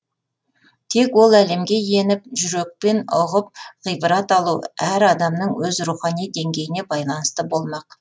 тек ол әлемге еніп жүрекпен ұғып ғибрат алу әр адамның өз рухани деңгейіне байланысты болмақ